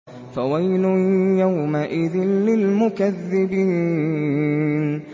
فَوَيْلٌ يَوْمَئِذٍ لِّلْمُكَذِّبِينَ